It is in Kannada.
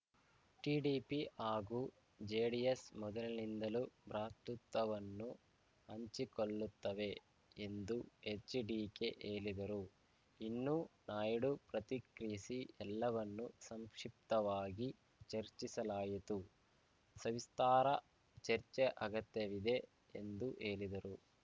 ಟಿಡಿಪಿ ಹಾಗೂ ಜೆಡಿಎಸ್‌ ಮೊದಲಿನಿಂದಲೂ ಭ್ರಾತೃತ್ತವನ್ನು ಹಂಚಿಕೊಳ್ಳುತ್ತವೆ ಎಂದೂ ಎಚ್‌ಡಿಕೆ ಹೇಳಿದರು ಇನ್ನು ನಾಯ್ಡು ಪ್ರತಿಕ್ರಿಯಿಸಿ ಎಲ್ಲವನ್ನೂ ಸಂಕ್ಷಿಪ್ತವಾಗಿ ಚರ್ಚಿಸಲಾಯಿತು ಸವಿಸ್ತಾರ ಚರ್ಚೆ ಅಗತ್ಯವಿದೆ ಎಂದು ಹೇಳಿದರು